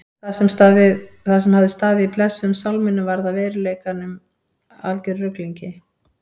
Það sem hafði staðið í blessuðum sálminum varð í veruleikanum að algerum ruglingi.